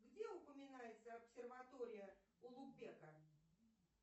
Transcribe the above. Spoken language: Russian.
где упоминается обсерватория улугбека